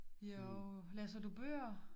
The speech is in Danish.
Jo læser du bøger